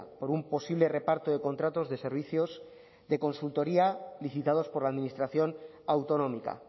por un posible reparto de contratos de servicios de consultoría licitados por la administración autonómica